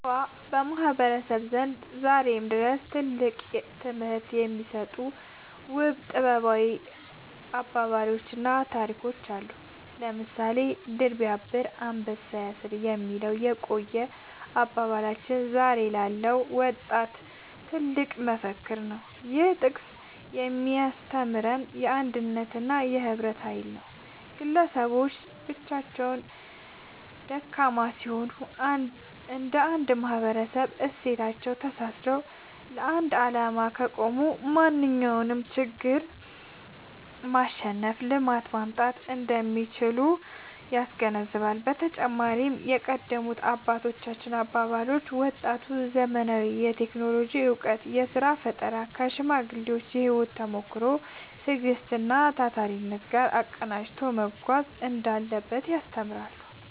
በሸዋ ማህበረሰብ ዘንድ ዛሬም ድረስ ትልቅ ትምህርት የሚሰጡ ውብ ጥበባዊ አባባሎችና ታሪኮች አሉ። ለምሳሌ «ድር ቢያብር አንበሳ ያስር» የሚለው የቆየ አባባላችን ዛሬ ላለው ወጣት ትልቅ መፈክር ነው። ይህ ጥቅስ የሚያስተምረው የአንድነትንና የህብረትን ኃይል ነው። ግለሰቦች ለብቻቸው ደካማ ቢሆኑም፣ እንደ አንድ ማህበራዊ እሴቶች ተሳስረው ለአንድ ዓላማ ከቆሙ ማንኛውንም ትልቅ ችግር ማሸነፍና ልማትን ማምጣት እንደሚችሉ ያስገነዝባል። በተጨማሪም የቀደሙት አባቶች አባባሎች፣ ወጣቱ ዘመናዊውን የቴክኖሎጂ እውቀትና የሥራ ፈጠራ ከሽማግሌዎች የህይወት ተሞክሮ፣ ትዕግስትና ታታሪነት ጋር አቀናጅቶ መጓዝ እንዳለበት ያስተምራሉ።